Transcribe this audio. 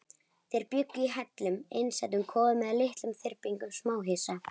Þeir bjuggu í hellum, einsetukofum eða litlum þyrpingum smáhýsa.